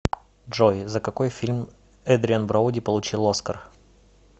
джой за какой фильм эдриан броуди получил оскар